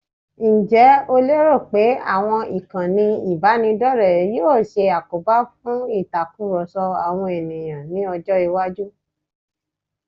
Ǹjẹ́ o lérò pé àwọn ìkànnì ìbánidọ́rẹ̀ẹ́ yóò ṣe àkóbá fún ìtakurọ̀sọ àwọn ènìyàn ní ọjọ́-iwájú?